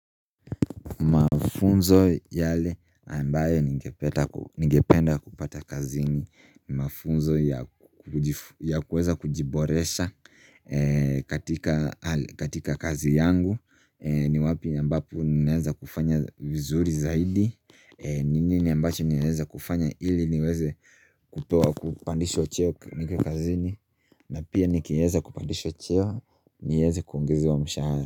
Mafunzo yale ambayo ninge penda kupata kazi ni mafunzo ya kuweza kujiboresha katika kazi yangu ni wapi ambapo ninaweza kufanya vizuri zaidi nini ambacho naweza kufanya ili niweze kutuwa kupandishwa cheo nike kazi ni na pia nikeyeza kupandishwa cheo niweze kuongezwa mshahara.